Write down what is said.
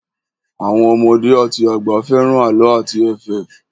Àwọn ọmọdé àti àgbà fẹ́ràn àlọ́ àti ẹ̀fẹ̀.